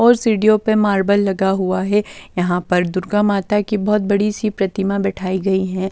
और सीढ़ियों पर मार्बल लगा हुआ है यहां पर दुर्गा माता की बहुत बड़ी सी प्रतिमा बैठाई गई है.